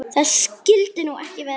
Það skyldi nú ekki vera?